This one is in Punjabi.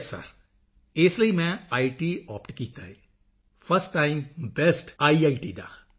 ਯੇਸ ਸਿਰ ਇਸ ਲਈ ਮੈਂ ਇਤ ਆਪਟ ਕੀਤਾ ਹੈ ਫਰਸਟ ਟਾਈਮ ਬੇਸਟ ਆਈਆਈਟੀ ਦਾ